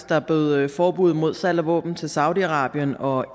der bød forbuddet mod salg af våben til saudi arabien og